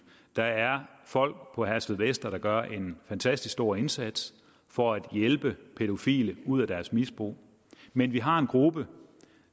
der er folk på herstedvester der gør en fantastisk stor indsats for at hjælpe pædofile ud af deres misbrug men vi har en gruppe